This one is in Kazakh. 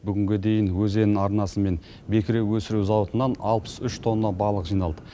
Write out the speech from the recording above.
бүгінге дейін өзен арнасы мен бекіре өсіру зауытынан алпыс үш тонна балық жиналды